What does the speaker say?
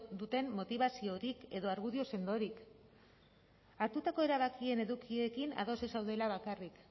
duten motibaziorik edo argudio sendorik hartutako erabakien edukiekin ados ez zaudela bakarrik